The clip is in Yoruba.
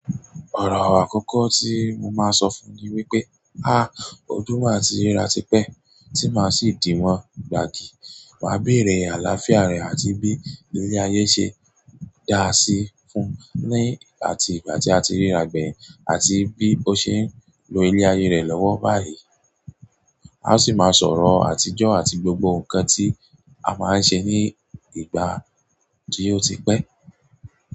Ọ̀rọ̀ àkọ́kọ́ tí mo máa sọ fún ni wípé, "á, ọdún màá tí ríra tipẹ́, tí màá sì dìwọ́n gbàgì, màá béèrè àlàáfíà rẹ̀ àti bí ilé ayé ṣe dáa sí í fún ní àti ìgbà tí a ti ríra gbẹ̀yìn àti bí ó ṣe ń lo ilé ayé rẹ̀ lọ́wọ́ báyìí. A ó sì máa sọ̀rọ̀ àtijọ́ àti gbogbo nǹkan tí a máa ń ṣe ní ìgbà tí ó ti pẹ́."